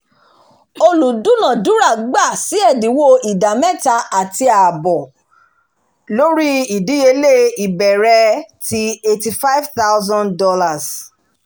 olùdúnàdúrà gbà sì ẹ̀dínwó ìdá mẹ́ta àti àbọ̀ lórí ìdíyelé ìbẹ̀rẹ̀ ti $85000